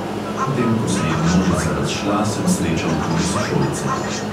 Potem ko se je množica razšla, sem srečal tudi sošolce.